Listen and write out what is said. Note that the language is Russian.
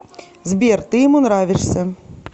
сбер ты ему нравишься